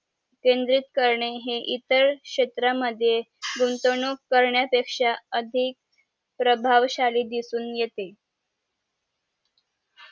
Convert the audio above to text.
केंद्रित करने हे इतर क्षेत्रा मद्ये गुंतवणूक करण्यापेक्षा अधिक प्रभावशाली दिसून येते